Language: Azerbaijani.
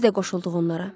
Biz də qoşulduq onlara.